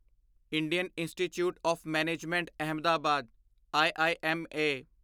Indian Institute of Management Ahmedabad IIMA